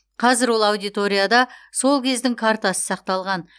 қазір ол аудиторияда сол кездің картасы сақталған